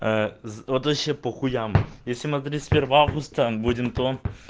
вот вообще по хуям если мы тридцать первого августа будем то